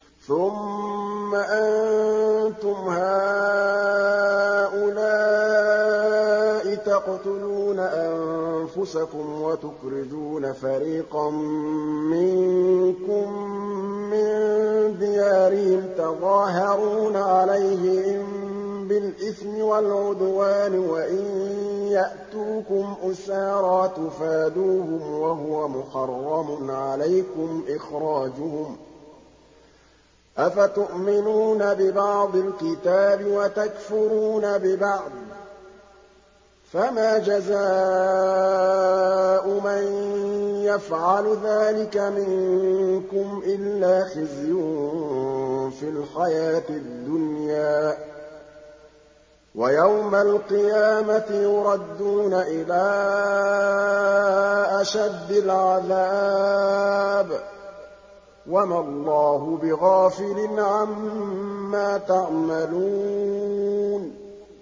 ثُمَّ أَنتُمْ هَٰؤُلَاءِ تَقْتُلُونَ أَنفُسَكُمْ وَتُخْرِجُونَ فَرِيقًا مِّنكُم مِّن دِيَارِهِمْ تَظَاهَرُونَ عَلَيْهِم بِالْإِثْمِ وَالْعُدْوَانِ وَإِن يَأْتُوكُمْ أُسَارَىٰ تُفَادُوهُمْ وَهُوَ مُحَرَّمٌ عَلَيْكُمْ إِخْرَاجُهُمْ ۚ أَفَتُؤْمِنُونَ بِبَعْضِ الْكِتَابِ وَتَكْفُرُونَ بِبَعْضٍ ۚ فَمَا جَزَاءُ مَن يَفْعَلُ ذَٰلِكَ مِنكُمْ إِلَّا خِزْيٌ فِي الْحَيَاةِ الدُّنْيَا ۖ وَيَوْمَ الْقِيَامَةِ يُرَدُّونَ إِلَىٰ أَشَدِّ الْعَذَابِ ۗ وَمَا اللَّهُ بِغَافِلٍ عَمَّا تَعْمَلُونَ